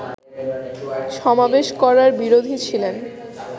সমাবেশ করার বিরোধী ছিলেন